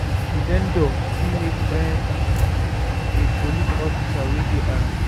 Di vendor fit make friends with di police officers wey dey around